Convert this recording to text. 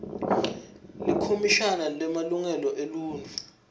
likhomishani lemalungelo eluntfu